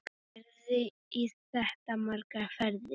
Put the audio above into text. Gerði í þetta margar ferðir.